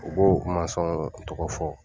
U b'o kuma sɔn k'i tɔgɔ fɔ.